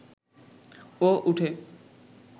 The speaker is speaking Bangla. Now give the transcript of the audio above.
ও উঠে